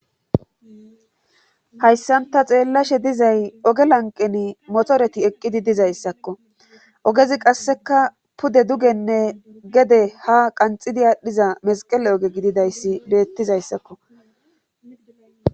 hayssanta xeellashe dizay oge lanqeni motoreti eqqidi dizayssakko ogezi qasseka pude dugenne gede ha qanxidi aadhdhiza mesqele oge gididayssi beettizayssakko